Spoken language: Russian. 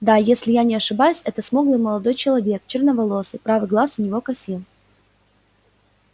да если я не ошибаюсь это смуглый молодой человек черноволосый правый глаз у него косил